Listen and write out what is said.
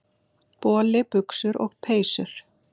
Boli, buxur og peysur.